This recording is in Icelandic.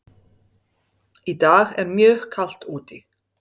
Í dag er mjög kalt úti.